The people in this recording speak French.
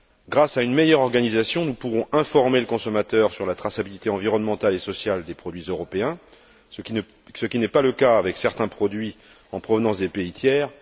Grâce à une meilleure organisation, nous pourrons informer le consommateur sur la traçabilité environnementale et sociale des produits européens, ce qui n'est pas le cas avec certains produits en provenance des pays tiers.